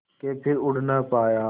के फिर उड़ ना पाया